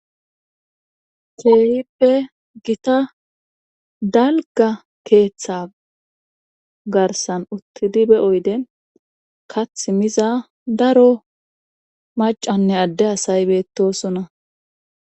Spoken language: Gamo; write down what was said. keehippe gita dalga keeththa garsan uttidi be oyde kath miza daro macanne adde asay beettosona